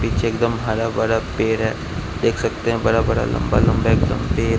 पिछे एक दम हरा भरा पेड़ है देख सकते हैं बड़ा बड़ा लंबा पेड़--